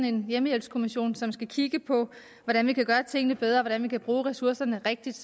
en hjemmehjælpskommission som skal kigge på hvordan vi kan gøre tingene bedre hvordan vi kan bruge ressourcerne rigtigt